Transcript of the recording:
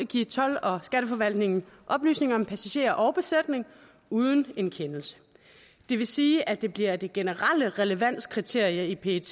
give told og skatteforvaltningen oplysninger om passagerer og besætning uden en kendelse det vil sige at det bliver det generelle relevanskriterium i pet